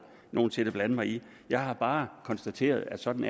nogen sinde blande mig i jeg har bare konstateret at sådan